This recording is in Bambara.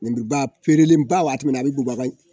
Nin ba feerelenba wagati min na a bɛ bubaga